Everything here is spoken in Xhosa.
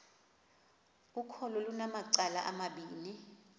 ukholo lunamacala amabini